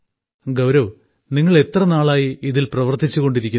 ഗൌരവ് നിങ്ങൾ എത്ര നാളായി ഇതിൽ പ്രവർത്തിച്ചുകൊണ്ടിരിക്കുന്നു